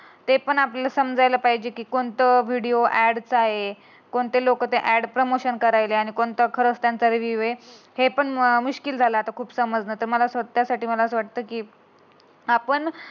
ते पण आपल्याला समजायला पाहिजे. की कोणता व्हिडिओ ॲड चा आहे. आणि कोणते लोक ते ऍड करायचे आणि कोणता त्यांचा रिव्ह्यू आहे. हे पण मू मुश्किल झाल आता खूप समजण हे मला वाटतं. त्यासाठी मला असं वाटतं की, आपण